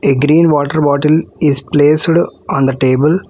A green water bottle is placed on the table.